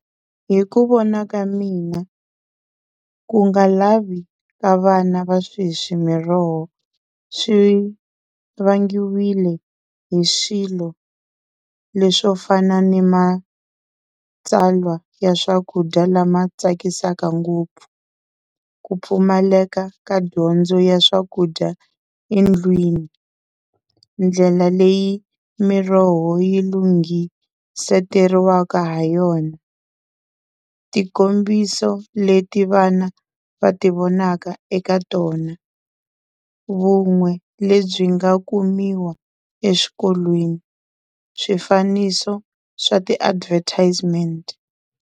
Hi ku vona ka mina ku nga lavi ka vana va sweswi miroho swi vangiwile hi swilo leswo fana ni matsalwa ya swakudya lama tsakisaka ngopfu, ku pfumaleka ka dyondzo ya swakudya endlwini, ndlela leyi miroho yi lunghiseteriwaka ha yona, tikombiso leti vana va ti vonaka eka tona, vun'we lebyi nga kumiwa eswikolweni, swifaniso swa ti-advertisement.